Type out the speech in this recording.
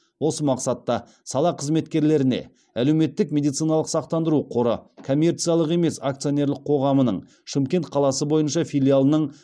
осы мақсатта сала қызметкерлеріне әлеуметтік медициналық сақтандыру қоры коммерциялық емес акционерлік қоғамының шымкент қаласы бойынша филиалының